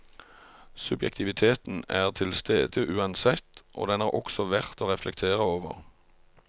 Subjektiviteten er til stede uansett, og den er også verdt å reflektere over.